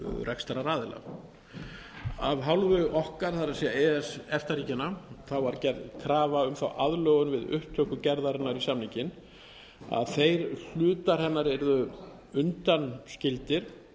rekstraraðila af hálfu okkar það er e e s efta ríkjanna var gerð krafa um þá aðlögun við upptöku gerðarinnar í samninginn að þeir hlutar hennar yrðu undanskildir